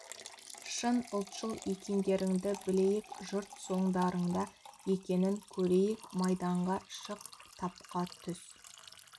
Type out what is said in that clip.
шын ұлтшыл екендеріңді білейік жұрт соңдарыңда екенін көрейік майданға шық тапқа түс